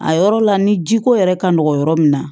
A yɔrɔ la ni ji ko yɛrɛ ka nɔgɔn yɔrɔ min na